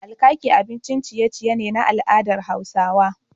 Alkaki abincin ciye ciye ne na al'adar Hausawa